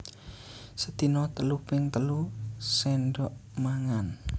Sedina telu ping telu séndhok mangan